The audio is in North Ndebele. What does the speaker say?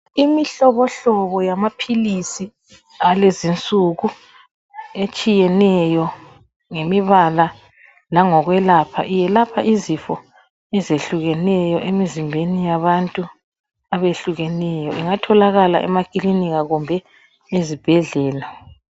Imihlobohlobo yamaphili alezinsuku etshiyeneyo ngemibala langokwelapha iyelapha izifo ezehlukeneyo emizimbeni yabantu abehlukeneyo ingatholaka emakilinika kumbe ezibhedlela.